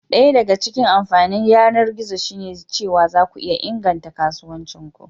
Daya daga cikin amfanin yanar gizo shine cewa zaku iya inganta kasuwancin ku.